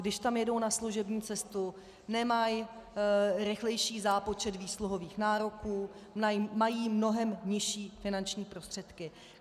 Když tam jedou na služební cestu, nemají rychlejší zápočet výsluhových nároků, mají mnohem nižší finanční prostředky.